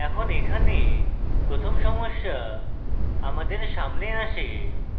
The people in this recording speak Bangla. এখন এখানে প্রথম সমস্যা আমাদের সামনে আসে